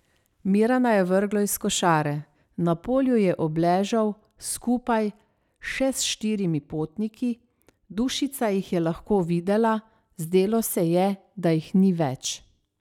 Mirana je vrglo iz košare, na polju je obležal skupaj še s štirimi potniki, Dušica jih je lahko videla, zdelo se je, da jih ni več.